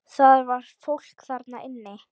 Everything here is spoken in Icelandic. Það var fólk þarna inni!